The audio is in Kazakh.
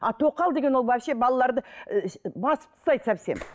а тоқал деген ол вообще балаларды ііі басып тастайды совсем